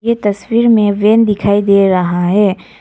ये तस्वीर में वैन दिखाई दे रहा है।